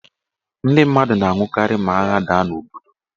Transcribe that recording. Ndị mmadụ na-anwụkarị ma agha daa n' obodo.